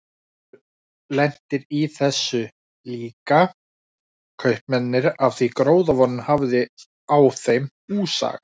Þeir voru lentir í þessu líka, kaupmennirnir, af því gróðavonin hafði á þeim húsaga.